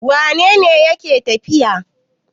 Wane ne yake tafiya?